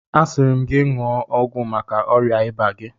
Asịrị m ga ṅụọ ọgwụ maka ọrịa ịba gị!